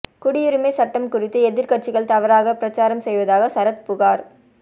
குடியுரிமை சட்டம் குறித்து எதிர்க்கட்சிகள் தவறாக பிரசாரம் செய்வதாக சரத் புகார்